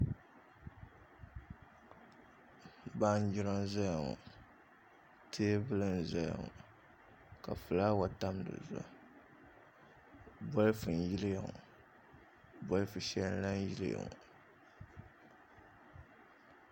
Baanjira n ʒɛya ŋɔ teebuli n ʒɛya ŋɔ ka fulaawa tam dizuɣu bolfu n yiliya ŋɔ bolfu shɛli n lahi yiliya ŋɔ